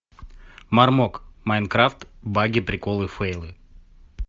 мармок майнкрафт баги приколы фейлы